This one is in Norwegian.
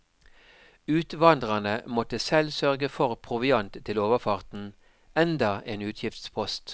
Utvandrerne måtte selv sørge for proviant til overfarten, enda en utgiftspost.